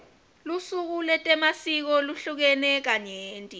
lusuku letemasiko luhlukene kanyenti